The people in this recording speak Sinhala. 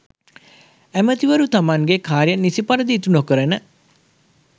ඇමතිවරු තමන්ගේ කාර්යන් නිසි පරිදි ඉටු නොකරන